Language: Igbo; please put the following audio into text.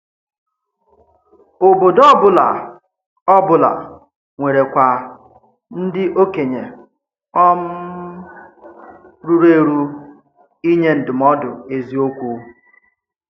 Ọ̀bòdò ọ́bụ̀la ọ́bụ̀la nwèrèkwà ndí òkènye um rùrù èrù ínye ndúmòdù èzíòkwú.